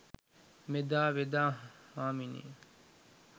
මෙදා වෙද හාමිනේ